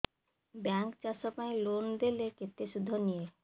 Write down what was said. bank ଚାଷ ପାଇଁ loan ଦେଲେ କେତେ ସୁଧ ନିଏ